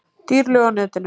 Dýr lög á netinu